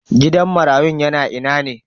Gidan marayun yana ina ne?